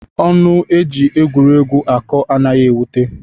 Ọnụ e ji egwuregwu akọ anaghị ewute.